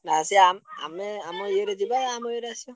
ନା ସିଏ ~ଆ ଆମେ ଆମ ଇଏରେ ଯିବା ଆମ ଇଏରେ ଆସିଆ।